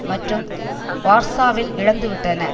மற்றும் வார்சாவில் இழந்து விட்டன